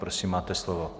Prosím, máte slovo.